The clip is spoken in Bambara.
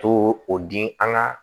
To o di an ka